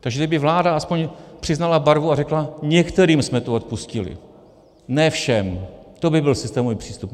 Takže kdyby vláda aspoň přiznala barvu a řekla: některým jsme to odpustili, ne všem - to by byl systémový přístup.